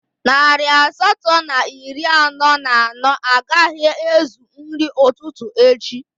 Narị asatọ na iri anọ na anọ agaghị ezu nri ụtụtụ echi